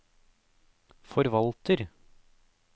forvalter